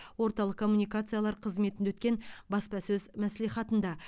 орталық коммуникациялар қызметінде өткен баспасөз мәслихатында